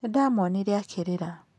Nĩ ndaamuonire akĩrĩra.